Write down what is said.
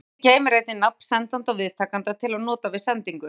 Póstforritið geymir einnig nafn sendanda og viðtakenda til að nota við sendingu.